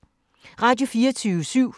Radio24syv